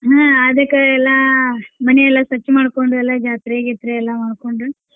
ಹಾ ಅದಕ್ಕ ಎಲ್ಲಾ ಮನಿಯೆಲ್ಲ ಸ್ವಚ್ಛ ಮಾಡ್ಕೊಂಡು ಎಲ್ಲಾ ಜಾತ್ರಿ ಗಿತ್ರಿ ಎಲ್ಲಾ ಮಾಡ್ಕೊಂಡು.